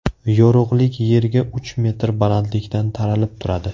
Yorug‘lik yerga uch metr balandlikdan taralib turadi.